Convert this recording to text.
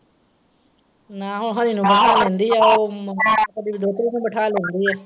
ਨਾ ਹੋ ਬਾਹਰ ਬਿਠਾ ਲੈਂਦੀ ਆ ਉਹ ਕਦੀ ਦੋਤਰੀ ਨੂੰ ਵੀ ਬਿਠਾ ਲੈਂਦੀ ਏ।